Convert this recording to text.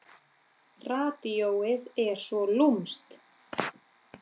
Radíóið er svo lúmskt.